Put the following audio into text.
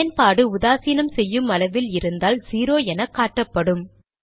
பயன்பாடு உதாசீனம் செய்யும் அளவில் இருந்தால் 0 எனக்காட்டப்படும்